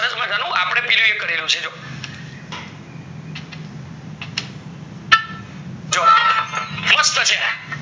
સરસ મજાનું અપડે કરેલું છે જો મસ્ત છે